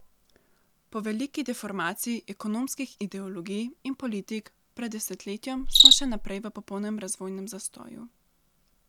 Po veliki deformaciji ekonomskih ideologij in politik pred desetletjem smo še naprej v popolnem razvojnem zastoju.